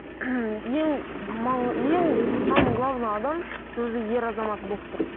ең ең самый главный адам сол жерде ер азамат болып тұр